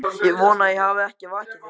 Ég vona ég hafi ekki vakið þig.